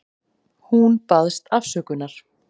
Hún baðst afsökunar.